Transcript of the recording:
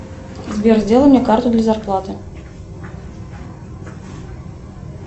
сбер сделай мне карту для зарплаты